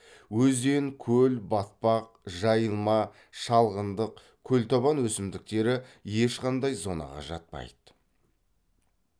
өзен көл батпақ жайылма шалғындық көлтабан өсімдіктері ешқандай зонаға жатпайды